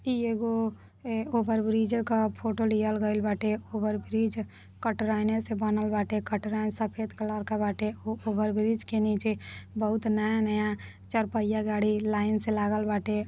इ एगो ए ओभरब्रिज क फोटो लियल गइल बाटे। ओभरब्रिज कटराइने से बनल बाटे। कटराइन सफेद कलर क बाटे। ओ ओभरब्रिज के नीचे बहुत नया नया चरपहिया गाड़ी लाइन से लागल बाटे।